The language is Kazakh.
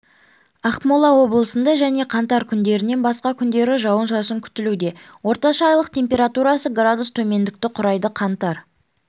ақмола облысында және қаңтар күндерінен басқа күндері жауын-шашын күтілуде орташа айлық температурасы градус төмендікті құрайды қаңтар